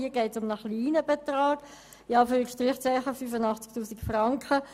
Hier geht es um einen «kleinen» Betrag von 85 000 Franken.